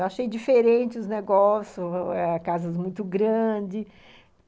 Eu achei diferente os negócios, casas muito grandes.